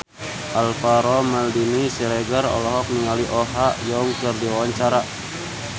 Alvaro Maldini Siregar olohok ningali Oh Ha Young keur diwawancara